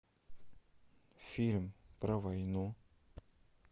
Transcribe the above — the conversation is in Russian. фильм про войну